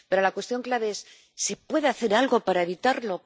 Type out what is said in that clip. Pero la cuestión clave es ¿se puede hacer algo para evitarlo?,